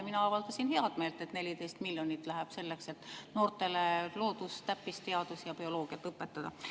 Mina avaldasin heameelt, et 14 miljonit läheb selleks, et noortele loodus- ja täppisteadusi, bioloogiat õpetada.